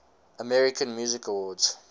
american music awards